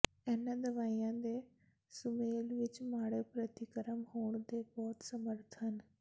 ਇਨ੍ਹਾਂ ਦਵਾਈਆਂ ਦੇ ਸੁਮੇਲ ਵਿੱਚ ਮਾੜੇ ਪ੍ਰਤੀਕਰਮ ਹੋਣ ਦੇ ਬਹੁਤ ਸਮਰੱਥ ਹਨ